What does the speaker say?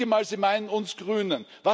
Ich denke mal, Sie meinen uns Grüne.